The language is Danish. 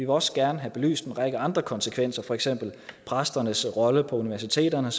også gerne have belyst en række andre konsekvenser for eksempel præsternes rolle på universiteterne